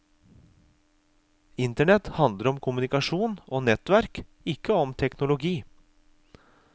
Internett handler om kommunikasjon og nettverk, ikke om teknologi.